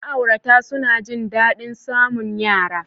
Ma'aurata suna jin daɗin samun yara.